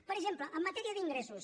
per exemple en matèria d’ingressos